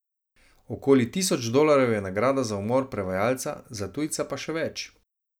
Okoli tisoč dolarjev je nagrada za umor prevajalca, za tujca pa še več.